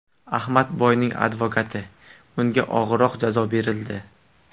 Ahmadboyning advokati: Unga og‘irroq jazo berildi .